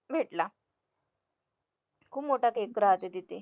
भेटला खूप मोठा cake राहते तिथे